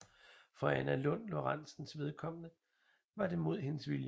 For Anna Lund Lorenzens vedkommende var det mod hendes vilje